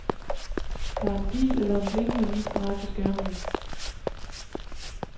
Der er en pil eller en blinkende lille streg på skærmen.